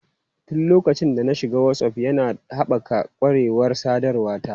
Tun lokacin da na shiga Whatsapp, yana haɓaka ƙwarewar sadarwa ta.